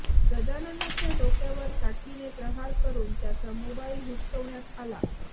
गजाननच्या डोक्यावर काठीने प्रहार करून त्याचा मोबाइल हिसकवण्यात आला